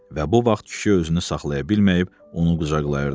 Və bu vaxt kişi özünü saxlaya bilməyib onu qucaqlayırdı.